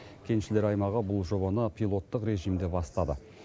кеншілер аймағы бұл жобаны пилоттық режимде бастады